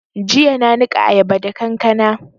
Jiya na niƙa ayaba da kankana